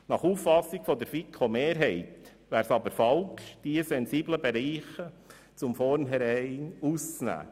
Nach Auffassung der FiKo-Mehrheit wäre es aber falsch, diese sensiblen Bereiche von vornherein auszuklammern.